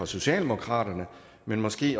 socialdemokratiet men måske